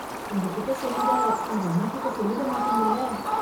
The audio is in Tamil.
உங்க கிட்ட சொன்னதை, உங்க அம்மாகிட்ட சொல்லிட மாட்டீங்கல்ல...